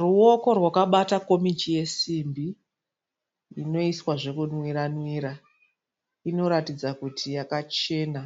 Ruwoko rwakabata komichi yesimbi inoiswa zvekunwira-nwira. Inoratidza kuti yakachena,